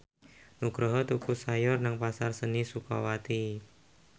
Nugroho tuku sayur nang Pasar Seni Sukawati